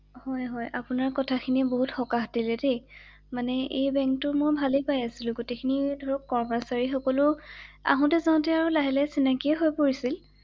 হয় হয় ৷আপোনাৰ কথাখিনি বহুত সকাহ দিলে দেই ৷মানে এই বেংকটো মই ভালে পাই আছিলো ৷গোটেই খিনি ধৰক কৰ্মচাৰীসকলেও আহোঁতো যাওঁতে আৰু লাহে লাহে চিনাকি হৈ পৰিছিল ৷